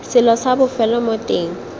selo sa bofelo mo teng